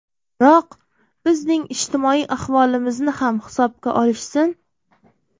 Biroq, bizning ijtimoiy ahvolimizni ham hisobga olishsin.